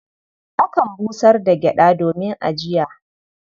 Akan busar da gyaɗa domin ajiya.